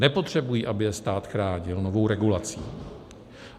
Nepotřebují, aby je stát chránil novou regulací.